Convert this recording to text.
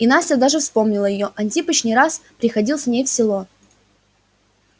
и настя даже вспомнила её антипыч не раз приходил с ней в село